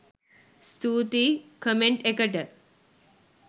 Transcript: ස්තුතියි කොමෙන්ට් එකට!